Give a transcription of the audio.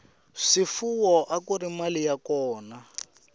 swifuwo akuri mali ya kona